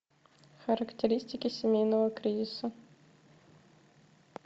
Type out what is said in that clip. характеристики семейного кризиса